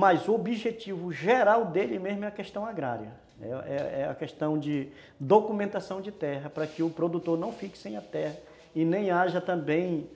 Mas o objetivo geral dele mesmo é a questão agrária, é é a questão de documentação de terra para que o produtor não fique sem a terra e nem haja também,